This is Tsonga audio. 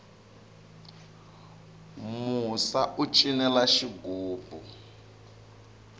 musa u cinela xigubu